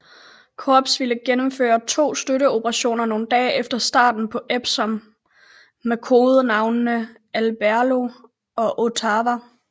Korps ville gennemføre to støtte operationer nogle dage efter starten på Epsom med kodenavnene Aberlour og Ottawa